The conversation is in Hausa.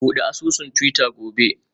Bude asusun twitter gobe